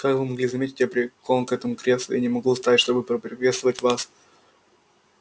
как вы могли заметить я прикован к этому креслу и не могу встать чтобы поприветствовать вас